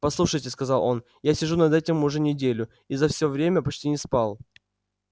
послушайте сказал он я сижу над этим уже неделю и за все время почти не спал